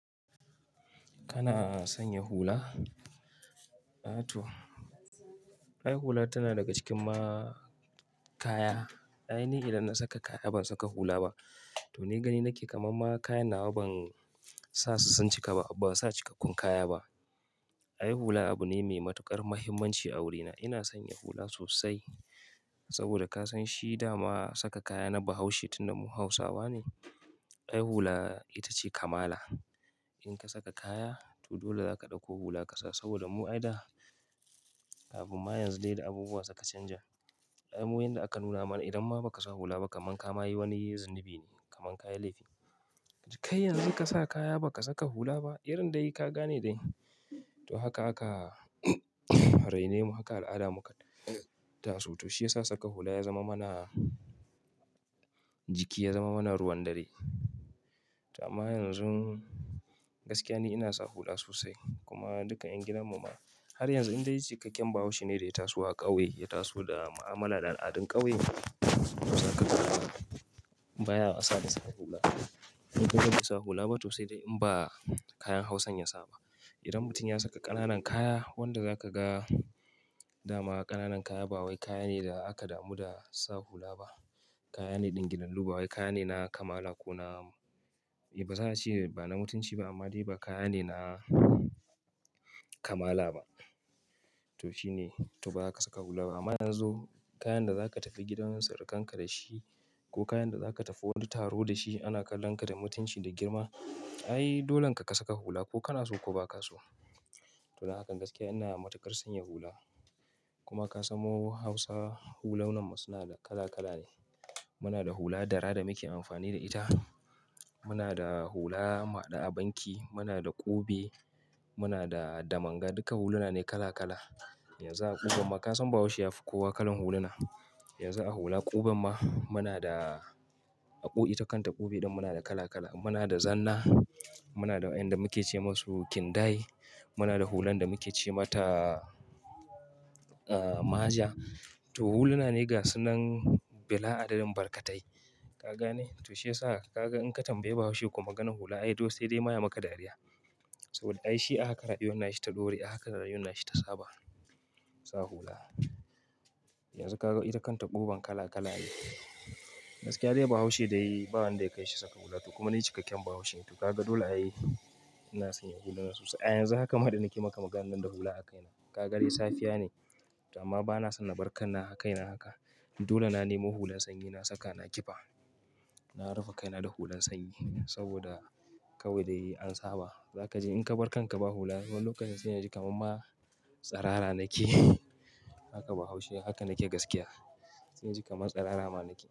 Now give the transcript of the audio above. Kana sanya hula? Atoh, ai hula tana daga cikin ma kaya. Ai ni idan na saka kaya ban saka hula ba. To ni gani nake kamar ma kaya nawa ban sa su sun cika ba, ba sa cikkakkun kaya ba. Ai hula abu ne mai matuƙar mahimmanci a wurina. Ina son yi hula sosai saboda kasan shi dama saka kaya na Bahaushe tun da mu Hausawa ne. Ai hula ita ce kamala. In ka saka kaya to dole zaka ɗauko hula ka sa saboda mu ai da abu ma yanzu dai da abubuwa suka canja. Ai mu wanda aka nuna mana idan ma ba ka sa hula ba kaman ka ma yi wani zunubi ne, kaman kaya laifi. Kai yanzu ka sa kaya ba ka saka hula ba, irin dai ka gane dai. To haka aka raini mu haka al'ada muka taso. To shi ya sa saka hula ya zama mana jiki, ya zama mana ruwan dare. To amma yanzun gaskiya ne ina sa hula sosai kuma duka ƴan gidan mu ma har yanzu in dai cikakken Bahaushe ne da ya taso a ƙauye, ya taso da ma'amala da al'adun ƙauye, baya wasa da sa hula. In ka bansa hula ba to sai dai in ba kayan Hausan ya sa ba. Idan mutum ya saka ƙananan kaya, wanda za ka ga dama ƙananan kaya ba wai kaya ne da aka damu da sa hula ba. Kaya ne ɗingillalu bawai kaya ne na kamala ko na, eh ba za'ace ba na mutunci ba amma dai ba kaya ne na kamala ba. To shi ne, to ba zaka saka hula ba, amma yanzu kayan da za ka tafi gidan surukanka dashi ko kayan da za ka tafi wani taro da shi ana kallon ka da mutunci da girma. Ai dolen ka, ka saka hula ko kana so ko ba ka so. To da hakan gaskiya ina matuƙar sanya hula. Kuma ka san mu Hausawa hulunan mu suna da kala kala ne. Muna da hula dara da muke amfani da ita. Muna da hula muhaɗu a banki, muna da ƙube, muna da damanga. Duka huluna ne kala kala. Yanzu a ƙuben ma kasan Bahaushe yafi kowa kalan huluna. Yanzu a hula ƙuben ma muna da ako ita ta kanta ƙube ɗin muna da kala kala. Muna da zanna, muna da waƴanda muke ce masu kindaye, muna da hulan da muke ce mata, ah, maja. To huluna ne gasan nan bila adadin barkatai. Ka gane? To shi ya sa ka ga in ka tambayi Bahaushe ko maganan hula ai to sai dai ma ya maka dariya. Saboda ai shi haka rayuwan na shi ta dore, haka rayuwan na shi ta saba sa hula. Yanzu ka ga ita kanta ƙuben kala kala ne. Gaskiya dai Bahaushe dai ba wanda ya kai shi saka hula. To kuma ni cikakken Bahaushe ne. To kaga dole ai ina sanya huluna sosai. Ai yanzu haka ma da nake maka maganan nan da hula a kaina. Ka ga dai safiya ne to amma bana son na barkar na a kaina haka. Dole na nemo hulan sanyi na saka, na ƙifa. Na rufe kaina da hulan sanyi saboda kawai dai an saba. Za kaji in ka barkar ka ba hula, wannan lokacin sai in ji kamar ma tsirara rake. Haka Bahaushe, haka nake gaskiya. Sai inji kamar tsirara ma nake.